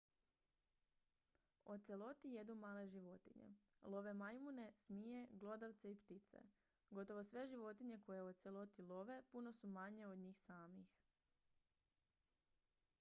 oceloti jedu male životinje love majmune zmije glodavce i ptice gotovo sve životinje koje oceloti love puno su manje od njih samih